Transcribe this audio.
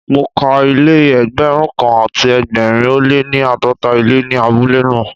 Mo ka ilé Ẹgbẹ̀rún kan àti ẹgbẹ̀rin ó lé ní àádọ́ta ilé ní abúlé náà.